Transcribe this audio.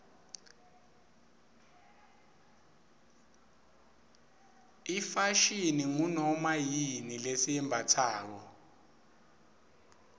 ifashini ngunoma yini lesiyimbatsako